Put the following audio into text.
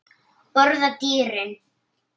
Borða dýrin?